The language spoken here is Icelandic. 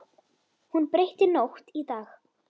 Hún breytti nótt í dag.